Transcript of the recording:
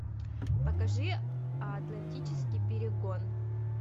покажи атлантический перегон